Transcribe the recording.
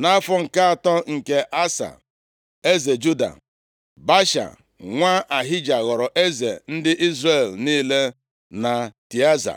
Nʼafọ nke atọ nke Asa, eze Juda, Baasha nwa Ahija ghọrọ eze ndị Izrel niile na Tịaza.